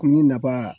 Kunni nafa